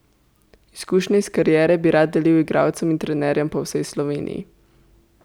Izkušnje iz kariere bi rad delil igralcem in trenerjem po vsej Sloveniji.